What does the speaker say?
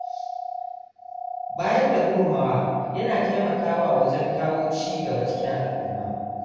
Bayar da gudunmawa yana taimakawa wajen kawo ci gaba cikin al'umma.